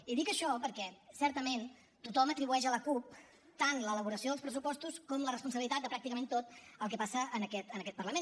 i dic això perquè certament tothom atribueix a la cup tant l’elaboració dels pressupostos com la responsabilitat de pràcticament tot el que passa en aquest parlament